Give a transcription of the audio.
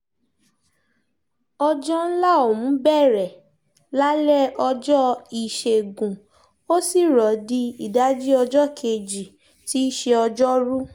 ọjọ́ ńlá ọ̀hún bẹ̀rẹ̀ lálẹ́ ọjọ́ ìṣègùn ó sì rọ̀ di ìdajì ọjọ́ kejì tí í ṣe ọjọ́rùú